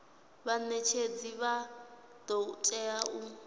vhanetshedzi vha do tea u